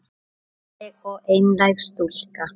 Falleg og einlæg stúlka.